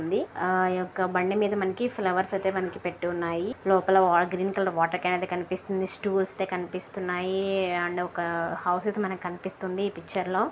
ఉంది ఈ ఒక బండి మీధ మనకి ఫ్లవర్స్ అయితే మనకి పెట్టి ఉన్నాయి లోపల గ్రీన్ కలర్ వాటర్ కాన్ అయితే కనిపిస్తుంది స్టూల స్ అయితే కనిపిస్తున్నాయి అండ్ ఒక హౌస్ అయితే మనకి కనిపిస్తుంది ఈ పిక్చర్ లో --